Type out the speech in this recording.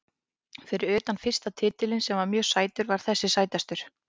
Fyrir utan fyrsta titilinn sem var mjög sætur var þessi sætastur.